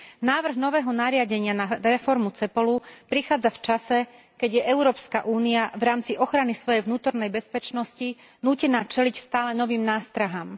Návrh nového nariadenia na reformu Cepolu prichádza v čase, keď je Európska únia v rámci ochrany svojej vnútornej bezpečnosti nútená čeliť stále novým nástrahám.